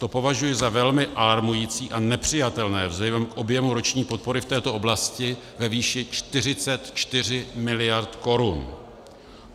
To považuji za velmi alarmující a nepřijatelné vzhledem k objemu roční podpory v této oblasti ve výši 44 miliard korun.